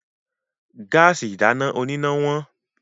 Gáàsì ìdáná oníná wọ́n.